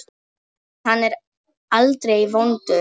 En hann er aldrei vondur.